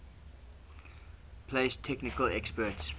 place technical experts